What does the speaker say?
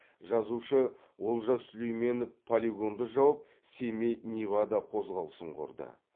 жазушы олжас сүлейменов полигонды жауып семей невада қозғалысын құрды